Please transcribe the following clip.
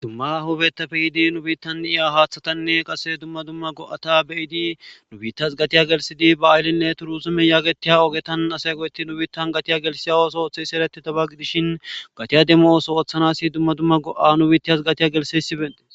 Dumma hubetafe yidi nu bittaniya haaththatanne qase dumma dumma go'ata beyidi nu biittas gatiya gelsidi ba aaylinne turuuzume yaagetiya ogetan asay go'etti nu biittan gatiya gelsiyawos ooththe sereti tabaggidishin gatiya demmooso ooththanasi dumma dumma go'a nubiitiyas gatiya gelseysi betes